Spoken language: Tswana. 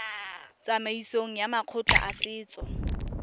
tsamaisong ya makgotla a setso